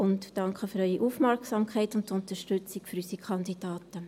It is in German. Ich danke für Ihre Aufmerksamkeit und die Unterstützung unserer Kandidaten.